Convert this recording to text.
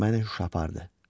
Məni yuxu apardı.